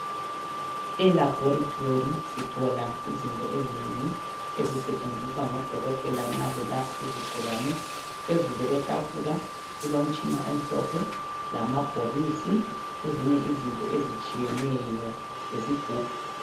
Elaboratory sithola izinto ezinengi ezisetshenziswa ngo Dokotela nxa belapha izigulane. Phezulu kwetafula kulomtshina omhlophe lamabhokisi lezinye izinto ezitshiyeneyo lesigubhu.